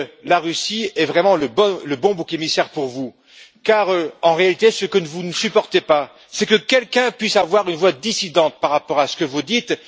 La Russie est vraiment le bon bouc émissaire pour vous car en réalité, ce que ne vous ne supportez pas, c'est que quelqu'un puisse avoir une voix dissidente par rapport à ce que vous dites.